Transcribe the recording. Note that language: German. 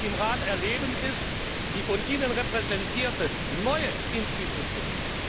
Und was wir im Rat erleben, ist die von Ihnen repräsentierte neue Institution.